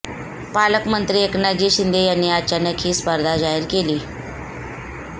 पालकमंत्री एकनाथजी शिंदे यांनी अचानक ही स्पर्धा जाहीर केली